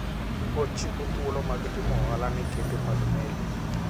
Ochiwo thuolo mag timo ohala ne kembe mag meli.